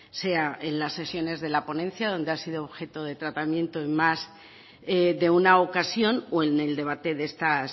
sea en la sesiones de la ponencia donde ha sido objeto de tratamiento en más de una ocasión o en el debate de estas